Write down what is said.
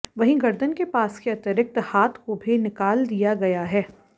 वहीं गर्दन के पास के अतिरिक्त हाथ को भी निकाल दिया गया है